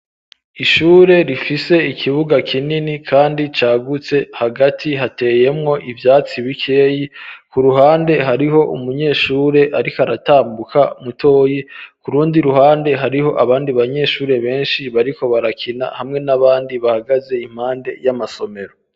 Ishure rifise ikibuga kinini kandi cagutse hagati hateyemwo ivyatsi bikeyi ku ruhande hariho umunyeshure ariko aratambuka mutoyi kurundi ruhande hariho abandi banyeshure beshi bariko barakina hamwe n'abandi bahagaze impande y'amasomero.